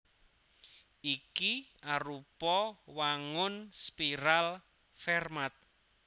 Iki arupa wangun spiral Fermat